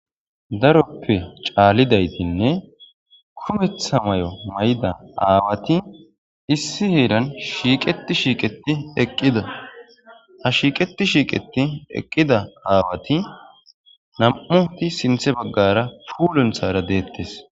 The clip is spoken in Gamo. daroppe caallidaytinne kumetha may7o may7da aawati issi heeran shiiqeti shiiqeti eqqida a shiiqeti shiiqeti eqqida aawati nam7uti sinthe baggara puulunthara deettes